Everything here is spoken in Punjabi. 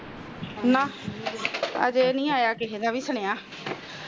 ਨਾਹ ਹਜੇ ਨੀ ਆਯਾ ਕਿਸੇ ਦਾ ਸੁਨਿਆਂ